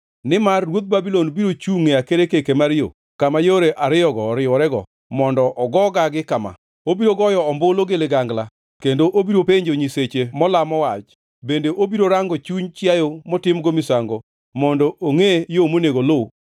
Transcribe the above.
Nimar ruodh Babulon biro chungʼ e akerkeke mar yo, kama yore ariyogo oriworego mondo ogo gagi kama: Obiro goyo ombulu gi ligangla kendo obiro penjo nyisechege molamo wach, bende obiro rango chuny chiayo motimgo misango mondo ongʼe yo monego oluw.